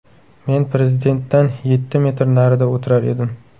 Men Prezidentdan yetti metr narida o‘tirar edim.